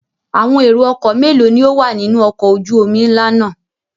Àwọn èrò-ọkọ̀ mélòó ni ó wà nínú ọkọ̀ ojú-omi ńlá náà?